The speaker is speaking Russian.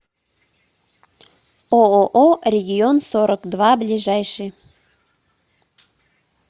ооо регион сорок два ближайший